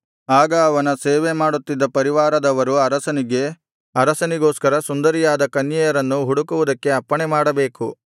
ಆಗ ಅವನ ಸೇವೆಮಾಡುತ್ತಿದ್ದ ರಾಜಪರಿವಾರದವರು ಅರಸನಿಗೆ ಅರಸನಿಗೋಸ್ಕರ ಸುಂದರಿಯರಾದ ಕನ್ಯೆಯರನ್ನು ಹುಡುಕುವುದಕ್ಕೆ ಅಪ್ಪಣೆಮಾಡಬೇಕು